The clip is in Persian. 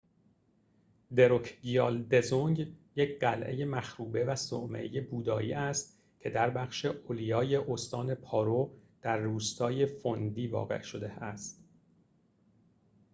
دروکگیال دزونگ یک قلعه مخروبه و صومعه بودایی است که در بخش اولیای استان پارو در روستای فوندی واقع شده است